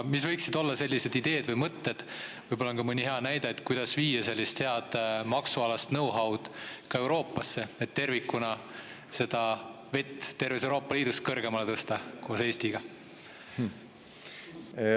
Mis võiksid olla sellised ideed või mõtted ja võib-olla on ka mõni hea näide selle kohta, kuidas viia sellist head maksualast know-how'd ka Euroopasse, et tervikuna seda vett terves Euroopa Liidus koos Eestiga kõrgemale tõsta?